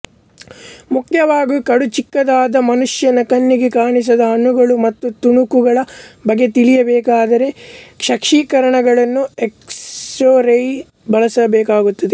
ಮುಖ್ಯವಾಗಿ ಕಡುಚಿಕ್ಕದಾದ ಮನುಷ್ಯನ ಕಣ್ಣಿಗೆ ಕಾಣಿಸದ ಅಣುಗಳ ಮತ್ತು ತುಣುಕುಗಳ ಬಗ್ಗೆ ತಿಳಿಯಬೇಕಾದರೆ ಕ್ಷಕಿರಣಗಳನ್ನುಎಕ್ಷರೇಯ್ಸ್ ಬಳಸಬೇಕಾಗುತ್ತದೆ